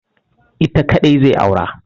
Ita kaɗai zai aura.